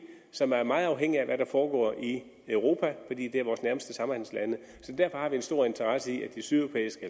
som er meget afhængig af hvad der foregår i europa fordi det er vores nærmeste samhandelslande så derfor har vi en stor interesse i at de sydeuropæiske